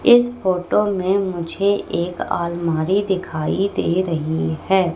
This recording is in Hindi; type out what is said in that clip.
इस फोटो में मुझे एक आलमारी दिखाई दे रही है।